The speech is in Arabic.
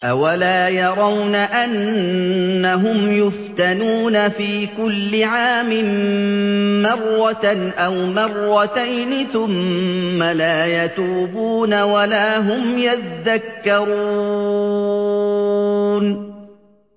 أَوَلَا يَرَوْنَ أَنَّهُمْ يُفْتَنُونَ فِي كُلِّ عَامٍ مَّرَّةً أَوْ مَرَّتَيْنِ ثُمَّ لَا يَتُوبُونَ وَلَا هُمْ يَذَّكَّرُونَ